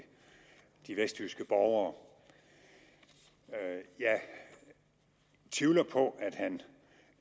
de vestjyske borgere jeg tvivler på at han